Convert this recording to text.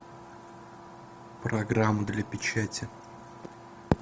программа для печати